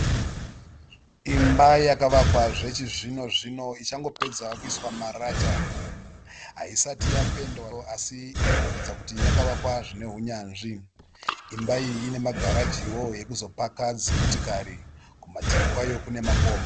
Imba yakavakwa zvechizvino zvino ichangopedza kuiswa marata. Hasati yapendwawo asi imoratidza kuti yakavakwa zvine hunyanzvi. Imba iyi ine magarajiwo ekuzopaka dzimotikari. Kumativi kwayo kune makomo.